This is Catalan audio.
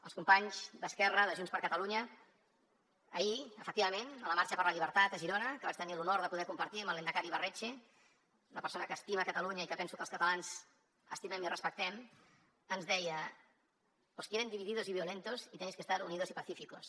als companys d’esquerra de junts per catalunya ahir efectivament a la marxa per la llibertat a girona que vaig tenir l’honor de poder compartir amb el lehendakari ibarretxe una persona que estima catalunya i que penso que els catalans estimem i respectem ens deia os quieren divididos y violentos y tenéis que estar unidos y pacíficos